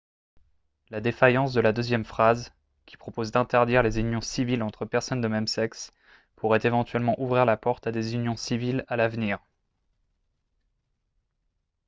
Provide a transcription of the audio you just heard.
la défaillance de la deuxième phrase qui propose d'interdire les unions civiles entre personnes de même sexe pourrait éventuellement ouvrir la porte à des unions civiles à l'avenir